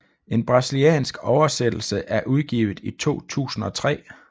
En brasiliansk oversættelse er udgivet i 2003